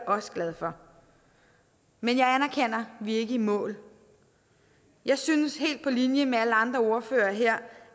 også glad for men jeg anerkender at vi ikke er i mål jeg synes helt på linje med alle andre ordførere her